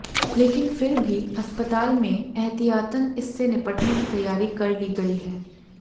लेकिन फिर भी अस्पताल में एहतियातन इससे निपटने की तैयारी कर ली गई है